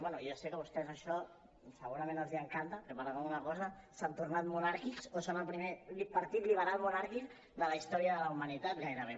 bé jo sé que a vostès això segurament els encanta que per alguna cosa s’han tornat monàrquics o són el primer partit liberal monàrquic de la història de la humanitat gairebé